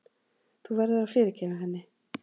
Þú verður að fyrirgefa henni.